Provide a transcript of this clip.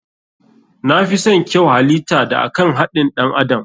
Na fison kyau halita da akan haɗin ɗan adam.